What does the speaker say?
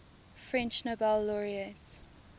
french nobel laureates